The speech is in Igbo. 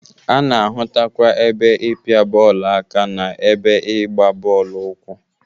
A na-ahụtakwa ebe ịpịa bọọlụ aka na ebe ịgba bọọlụ ụkwụ.